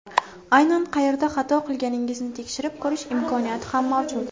Aynan qayerda xato qilganingizni tekshirib ko‘rish imkoniyati ham mavjud.